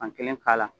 Fankelen k'a la